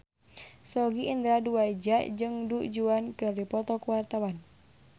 Sogi Indra Duaja jeung Du Juan keur dipoto ku wartawan